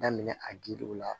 Daminɛ a giliw la